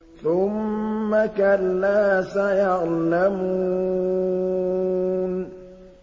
ثُمَّ كَلَّا سَيَعْلَمُونَ